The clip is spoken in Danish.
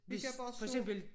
Hvis for eksempel